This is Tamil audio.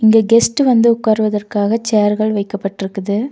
இங்க கெஸ்ட் வந்து உட்காருவதற்காக சேர்கள் வைக்கப்பட்ருக்குது.